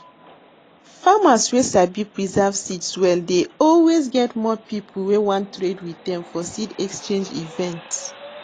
farmers wey sabi preserve seeds well dey always get more people wey wan trade with dem for seed exchange event